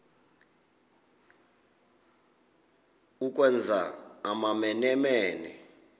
ukwenza amamene mene